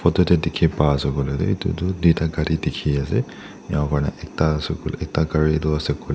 tadae diki pai asae koilae toh etu toh toita kari di ki asae ena ka kurina ekta asae ekta kari toh asae koilae.